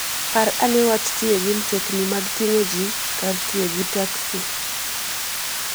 Par ane wach tiyo gi mtokni mag ting'o ji (public transport) kar tiyo gi taksi.